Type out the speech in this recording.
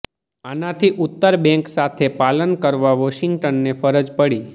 આનાથી ઉત્તર બેંક સાથે પાલન કરવા વોશિંગ્ટનને ફરજ પડી